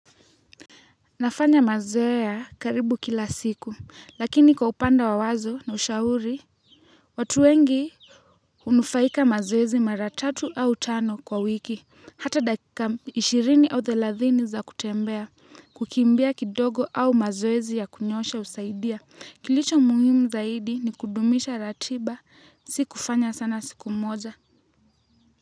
Nafanya mazoea karibu kila siku lakini kwa upande wa mawazo na ushauri wa watu wengi. Hunufaika mazoezi mara tatu au tano kwa wiki, hata dakika ishirini au thelathini za kutembea, kukimbia kidogo au mazoezi ya kunyoosha husaidia. Kilicho muhimu zaidi ni kudumisha ratiba. Si kufanya sana siku moja.